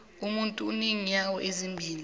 umuntu unenyawo ezimbili